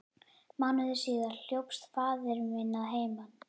Mánuði síðar hljópst faðir minn að heiman.